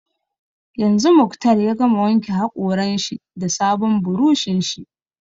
Yanzu Muktar ya gama wanke haƙoran shi da sabon buroshin shi